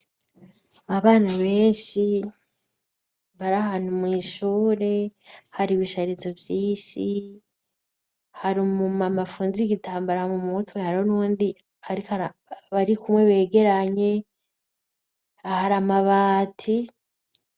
abana benshi bari ahantu mwishure hari ibishahirizo vyinshi hari umu mama afunze igitambara mu mutwe hari n'uwundi bari kumwe begeranye ahar'amabati